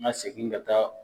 N ka segin ka taa